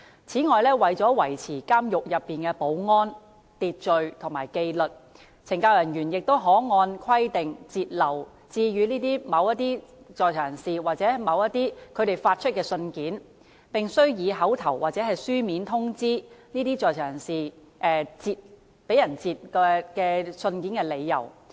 此外，為了維持監獄內的保安、秩序及紀律，懲教人員可按規定，截留致予某在囚人士或由某在囚人士發出的信件，並須以口頭或書面通知該在囚人士截留該信件的理由。